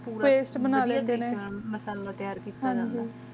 ਪੋਰ ਪਸਤ ਬ੍ਨਾਲਿਯਾ ਜਾਂਦਾ ਮਾਸਾਲਾਹ ਤਿਯਾਰ ਕਿੱਤਾ ਜਾਂਦਾ ਹੈ